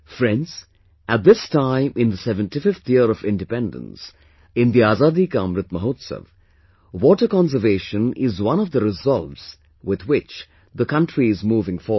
Friends, at this time in the 75th year of independence, in the Azadi Ka Amrit Mahotsav, water conservation is one of the resolves with which the country is moving forward